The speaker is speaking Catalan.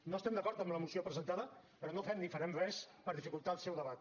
no estem d’acord amb la moció presentada però no fem ni farem res per dificultar el seu debat